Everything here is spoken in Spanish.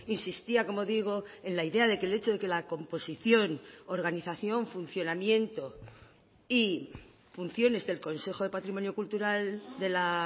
insistía como digo en la idea de que el hecho de que la composición organización funcionamiento y funciones del consejo de patrimonio cultural de la